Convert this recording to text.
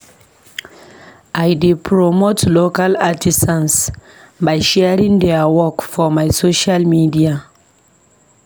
I dey promote local artisans by sharing their work for my social media.